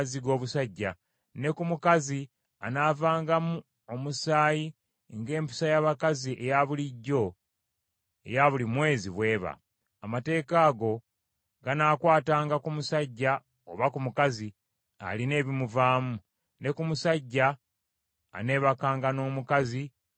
ne ku mukazi anaavangamu omusaayi ng’empisa y’abakazi eya bulijjo eya buli mwezi bw’eba. Amateeka ago ganaakwatanga ku musajja oba ku mukazi alina ebimuvaamu, ne ku musajja aneebakanga n’omukazi atali mulongoofu.”